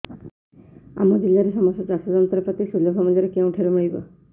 ଆମ ଜିଲ୍ଲାରେ ସମସ୍ତ ଚାଷ ଯନ୍ତ୍ରପାତି ସୁଲଭ ମୁଲ୍ଯରେ କେଉଁଠାରୁ ମିଳିବ